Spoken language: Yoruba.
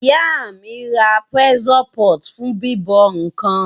Ìyá mí ra pressure pot fún bíbọ̀ nkan